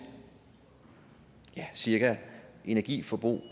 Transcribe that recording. cirka energiforbrug